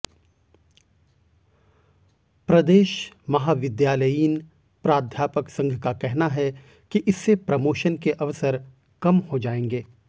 प्रदेश महाविद्यालयीन प्राध्यापक संघ का कहना है कि इससे प्रमोशन के अवसर कम हो जाएंगे